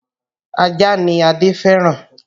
Ajá ni Adé fẹ́ràn